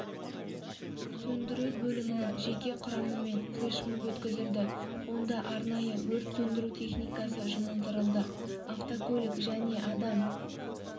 сөндіру бөлімінің жеке құрамымен флешмоб өткізілді онда арнайы өрт сөндіру техникасы жұмылдырылды автокөлік және адам